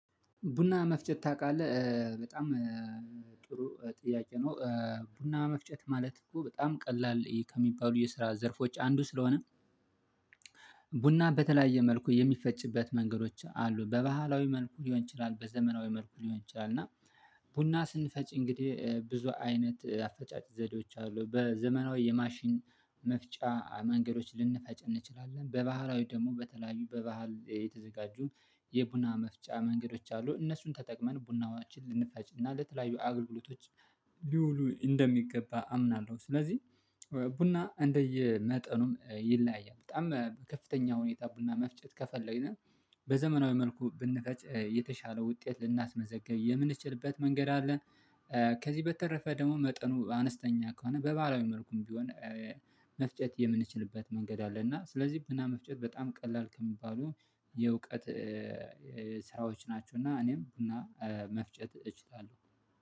ቡና መፍጨት ታውቃለህ በጣም ጥሩ ጥያቄ ነው? ቡና መፍጨት ማለት እኮ በጣም ቀላል ከሚባሉ የስራ ዘርፎች አንዱ ስለሆነ። ቡና በተለያየ መልኩ የሚፈጭበት መንገዶች አሉ በባህላዊ መልኩ ሊሆን ይችላል በዘመናዊ መልኩ ሊሆን ይችላል። እና ቡና ስንፈጭ እንግዲህ ብዙ አይነት አፈጫጭ ዘዴዎች አሉ በዘመናዊ የማሽን መፍጫ መንገዶች ልንፈጭ እንችላለን በባህራዊ ደግሞ በተለያዩ በባህል የተዘጋጁ የቡና መፍጫ መንገዶች አሉ እነሱን ተጠቅመን ቡናዎችን ልንፈጭና ለተለያዩ አገልግሎቶች ሊውሉ እንደሚገባ አምናለሁ። ስለዚህ ቡና እንደየመጠኑም ይለያያል በጣም በከፍተኛ ሁኔታ ቡና መፍጨት ከፈለው በዘመናዊ መልኩ ብንፈጭ የተሻለ ውጤት ልናስመዘግብ የምንችልበት መንገድ አለ። ከዚህ በተረፈ ደግሞ መጠኑ አነስተኛ ከሆነ በባህላዊ መልኩም ቢሆን መፍጨት የምንችልበት መንገድ አለ። እና ስለዚህ ብና መፍጨት በጣም ቀላል ከሚባሉ የእውቀት ስራዎች ናቸው። እና እኔም ቡና መፍጨት እችላለሁ